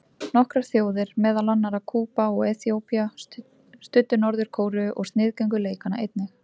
Nokkrar þjóðir, meðal annarra Kúba og Eþíópía, studdu Norður-Kóreu og sniðgengu leikana einnig.